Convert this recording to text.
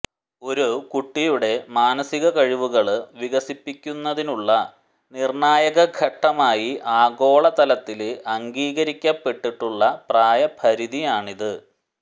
ഒരു കുട്ടിയുടെ മാനസിക കഴിവുകള് വികസിപ്പിക്കുന്നതിനുള്ള നിര്ണായക ഘട്ടമായി ആഗോളതലത്തില് അംഗീകരിക്കപ്പെട്ടിട്ടുള്ള പ്രായപരിധിയാണിത്